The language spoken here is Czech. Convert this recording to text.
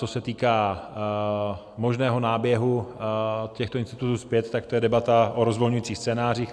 Co se týká možného náběhu těchto institutů zpět, tak to je debata o rozvolňujících scénářích.